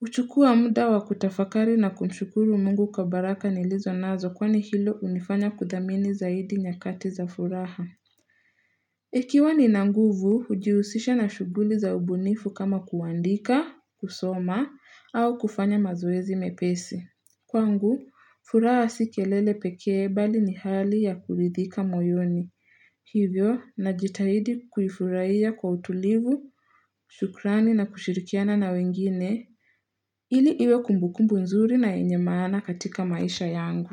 huchukua muda wa kutafakari na kumshukuru mungu kwa baraka nilizo nazo kwani hilo hunifanya kudhamini zaidi nyakati za furaha. Ikiwa nina nguvu, hujiusisha na shughuli za ubunifu kama kuandika, kusoma, au kufanya mazoezi mepesi. Kwangu, furaha si kelele pekee bali ni hali ya kuridhika moyoni. Hivyo, najitahidi kufuraiya kwa utulivu, shukrani na kushirikiana na wengine, ili iwe kumbukumbu nzuri na yenye maana katika maisha yangu.